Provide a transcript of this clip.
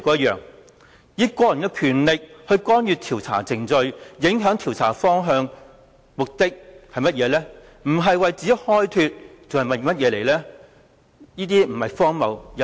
以個人權力干預調查程序及影響調查方向，如果目的不是為自己開脫還會是甚麼？